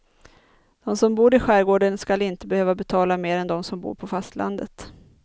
De som bor i skärgården skall inte behöva betala mer än de som bor på fastlandet.